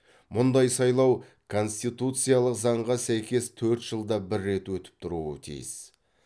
мұндай сайлау конституциялық заңға сәйкес төрт жылда бір рет өтіп тұруы тиіс